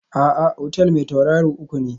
A'a, otal mai tauraro uku ne